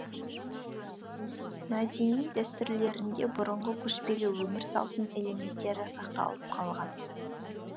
мәдени дәстүрлерінде бұрынғы көшпелі өмір салтының элементтері сақталып қалған